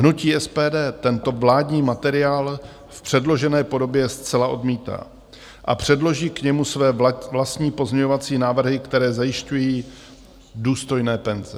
Hnutí SPD tento vládní materiál v předložené podobě zcela odmítá a předloží k němu své vlastní pozměňovací návrhy, které zajišťují důstojné penze.